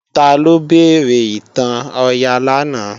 Taló béèrè ìtàn Ọya lánàá?